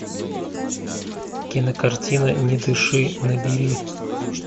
кинокартина не дыши набери